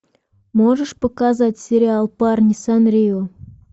можешь показать сериал парни санрио